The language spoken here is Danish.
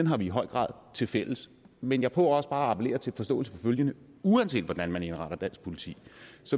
har vi i høj grad tilfælles men jeg prøver også bare at appellere til en forståelse for følgende uanset hvordan man indretter dansk politi